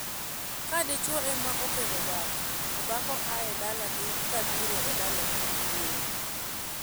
Ka dichwo ema okendo dhako to dhako aa dalagi kabiro e dalagi wuowi.